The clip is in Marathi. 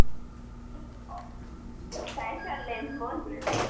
आणि Shares दोघांचे Trading होते. Capital मार्केटला दोन प्रकारच्या बाजारात विभा विभाजित केले